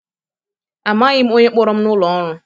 Amaghị m onye kpọrọ m n'ụlọ ọrụ.